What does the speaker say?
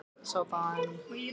Sjáðu bara hann Loft hérna niðri.